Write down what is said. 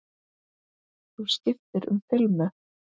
Þú skiptir um filmu!